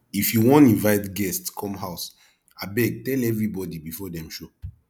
if you wan invite guest come house abeg tell everybody before dem show